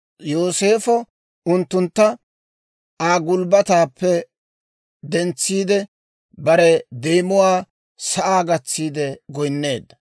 Yooseefo unttuntta Aa gulbbataappe dentsiide, bare deemuwaa sa'aa gatsiide goynneedda.